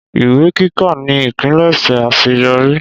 Ìwé kíkà ni ìpilẹ̀ṣẹ̀ àṣeyọrí